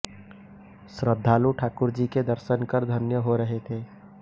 श्रद्धालु ठाकुरजी के दर्शन कर धन्य हो रहे थे